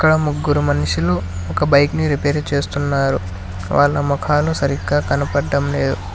ముగ్గురు మనుషులు ఒక బైక్ ని రిపేరు చేస్తున్నారు వాళ్ళ ముఖాలు సరిగ్గా కనబడటం లేదు.